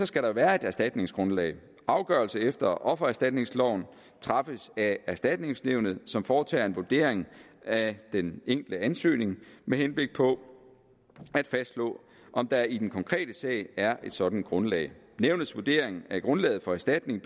skal der være et erstatningsgrundlag afgørelse efter offererstatningsloven træffes af erstatningsnævnet som foretager en vurdering af den enkelte ansøgning med henblik på at fastslå om der i den konkrete sag er et sådant grundlag nævnets vurdering er grundlaget for erstatning